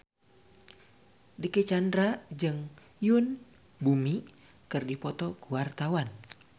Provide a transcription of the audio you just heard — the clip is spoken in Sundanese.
Dicky Chandra jeung Yoon Bomi keur dipoto ku wartawan